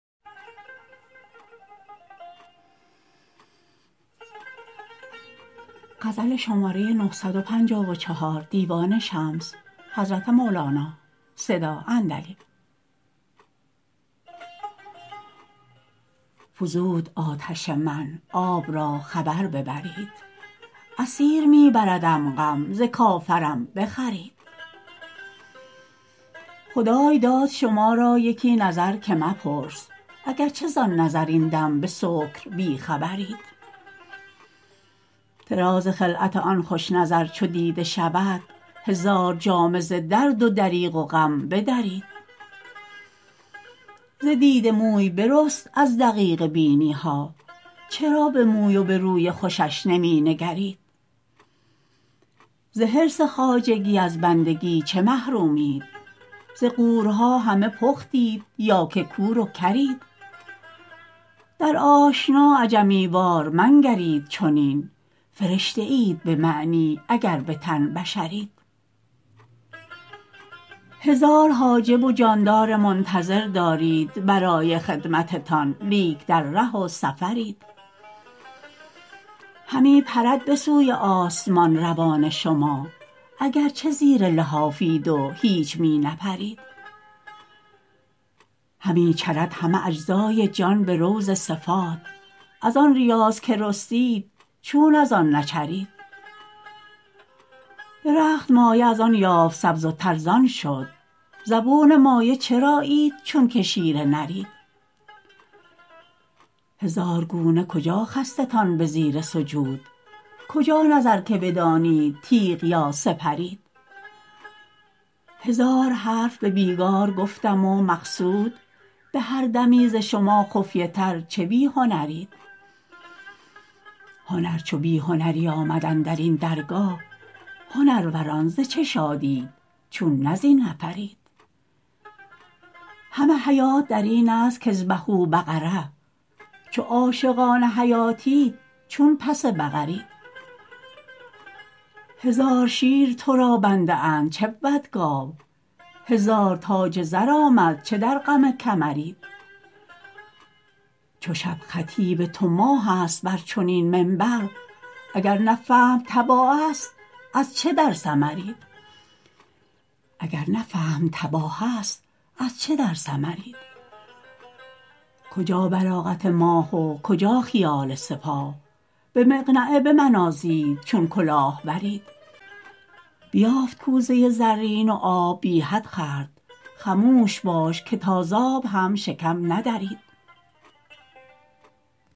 فزود آتش من آب را خبر ببرید اسیر می بردم غم ز کافرم بخرید خدای داد شما را یکی نظر که مپرس اگر چه زان نظر این دم به سکر بی خبرید طراز خلعت آن خوش نظر چو دیده شود هزار جامه ز درد و دریغ و غم بدرید ز دیده موی برست از دقیقه بینی ها چرا به موی و به روی خوشش نمی نگرید ز حرص خواجگی از بندگی چه محرومید ز غورها همه پختید یا که کور و کرید در آشنا عجمی وار منگرید چنین فرشته اید به معنی اگر به تن بشرید هزار حاجب و جاندار منتظر دارید برای خدمتتان لیک در ره و سفرید همی پرد به سوی آسمان روان شما اگر چه زیر لحافید و هیچ می نپرید همی چرد همه اجزای جان به روض صفات از آن ریاض که رستید چون از آن نچرید درخت مایه از آن یافت سبز و تر زان شد زبون مایه چرایید چونک شیر نرید هزار گونه کجا خستتان به زیر سجود کجا نظر که بدانید تیغ یا سپرید هزار حرف به بیگار گفتم و مقصود به هر دمی ز چه شما خفیه تر چه بی هنرید هنر چو بی هنری آمد اندر این درگاه هنروران ز شادیت چون نه زین نفرید همه حیات در اینست کاذبحوا بقره چو عاشقان حیاتید چون پس بقرید هزار شیر تو را بنده اند چه بود گاو هزار تاج زر آمد چه در غم کمرید چو شب خطیب تو ماهست بر چنین منبر اگر نه فهم تباهست از چه در سمرید کجا بلاغت ماه و کجا خیال سپاه به مقنعه بمنازید چون کلاه ورید بیافت کوزه زرین و آب بی حد خورد خموش باش که تا ز آب هم شکم ندرید